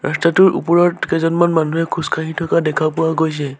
ৰাস্তাটোৰ ওপৰত কেইজনমান মানুহে খোজকাঢ়ি থকা দেখা পোৱা গৈছে।